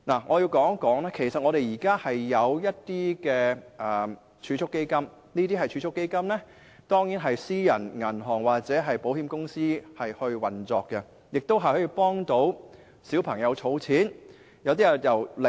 我要指出的是其實香港現時有提供一些儲蓄基金，它們當然是由私人銀行或保險公司運作，亦可為小朋友儲蓄。